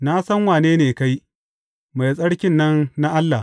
Na san wane ne kai, Mai Tsarki nan na Allah!